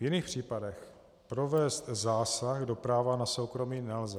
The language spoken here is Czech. V jiných případech provést zásah do práva na soukromí nelze.